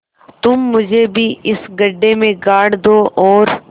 तुम मुझे भी इस गड्ढे में गाड़ दो और